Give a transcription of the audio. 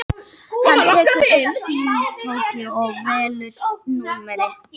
Hann tekur upp símtólið og velur númerið.